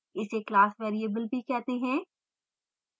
इसे class variable भी कहते हैं